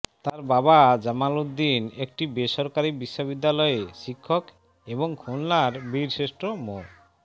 তার বাবা জামাল উদ্দিন একটি বেসরকারি বিশ্ববিদ্যালয়ে শিক্ষক এবং খুলনার বীরশ্রেষ্ঠ মো